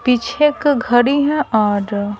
पीछे एक घड़ी है और--